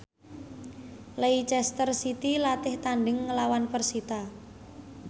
Leicester City latih tandhing nglawan persita